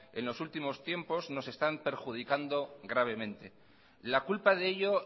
en los últimos tiempos nos están perjudicando gravemente la culpa de ello